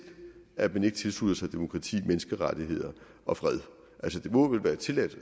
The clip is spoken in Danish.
at man ikke tilslutter sig demokrati menneskerettigheder og fred altså det må vel være tilladt